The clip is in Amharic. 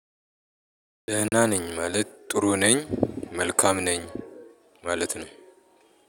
ደህና ነኝ ማለት ጥሩ ነኝ መልካም ነኝ ማለት ነው።